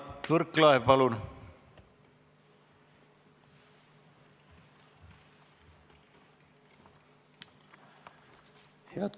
Mart Võrklaev, palun!